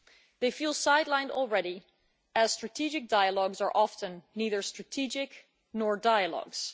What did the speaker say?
They feel sidelined already as strategic dialogues are often neither strategic nor dialogues.